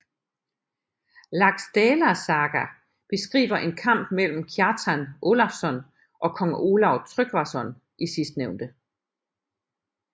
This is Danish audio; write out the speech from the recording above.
Laxdæla saga beskriver en kamp mellem Kjartan Ólafsson og kong Olav Tryggvason i sidstnævnte